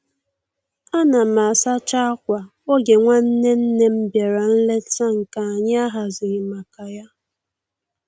Ana m asacha akwà oge nwanne nne m bịara nlete nke anyị ahazighị maka ya